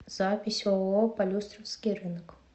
запись ооо полюстровский рынок